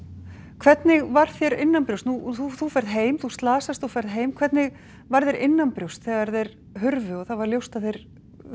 hvernig var þér innanbrjósts nú þú þú ferð heim þú slasast og ferð heim hvernig var þér innanbrjósts þegar þeir hurfu og það var ljóst að þeir